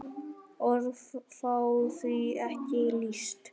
Orð fá því ekki lýst.